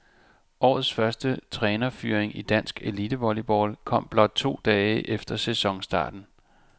Årets første trænerfyring i dansk elitevolleyball kom blot to dage efter sæsonstarten.